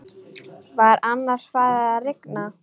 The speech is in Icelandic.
Var annars farið að rigna?